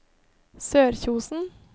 Sørkjosen